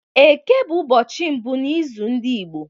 Eke bụ ụbọchị mbụ n’izu ndị Igbo.